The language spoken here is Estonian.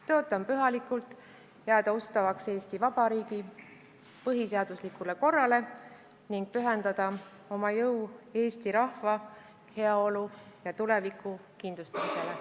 Tõotan pühalikult jääda ustavaks Eesti Vabariigi põhiseaduslikule korrale ning pühendada oma jõu eesti rahva heaolu ja tuleviku kindlustamisele.